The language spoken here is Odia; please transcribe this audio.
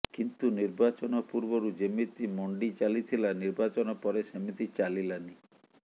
କିନ୍ତୁ ନିର୍ବାଚନ ପୂର୍ବରୁ ଯେମିତି ମଣ୍ଡି ଚାଲିଥିଲା ନିର୍ବାଚନ ପରେ ସେମିତି ଚାଲିଲାନି